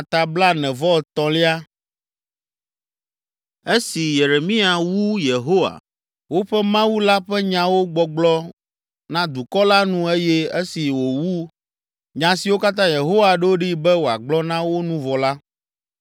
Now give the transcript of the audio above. Esi Yeremia wu Yehowa, woƒe Mawu la ƒe nyawo gbɔgblɔ na dukɔ la nu eye esi wòwu nya siwo katã Yehowa ɖo ɖee be wòagblɔ na wo nu vɔ la,